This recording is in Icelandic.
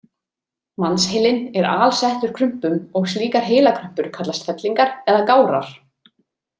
Mannsheilinn er alsettur krumpum og slíkar heilakrumpur kallast fellingar eða gárar.